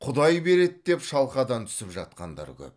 құдай береді деп шалқадан түсіп жатқандар көп